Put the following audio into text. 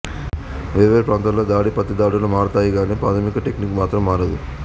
వేర్వేరు ప్రాంతాల్లో దాడి ప్రతిదాడులు మారతాయిగానీ ప్రాథమిక టెక్నిక్ మాత్రం మారదు